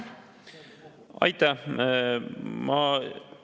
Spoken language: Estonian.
Aitäh!